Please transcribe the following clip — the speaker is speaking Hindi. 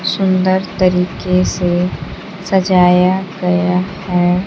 सुंदर तरीके से सजाया गया है।